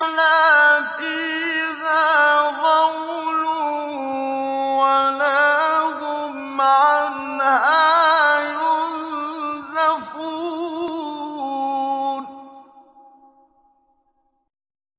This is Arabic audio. لَا فِيهَا غَوْلٌ وَلَا هُمْ عَنْهَا يُنزَفُونَ